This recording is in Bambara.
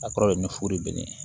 A kɔrɔ ye ne furu bɛ ne ye